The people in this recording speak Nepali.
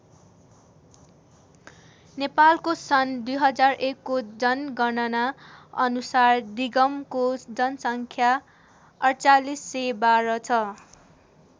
नेपालको सन् २००१ को जनगणना अनुसार दिगमको जनसङ्ख्या ४८१२ छ।